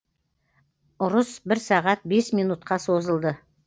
ұрыс бір сағат бес минутқа созылды